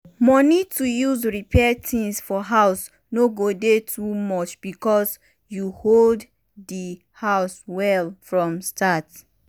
money to use repair things for house no go dey too much because you build di house well from start.